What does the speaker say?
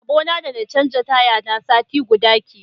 Rabona da na canja taya ta sati guda kenan.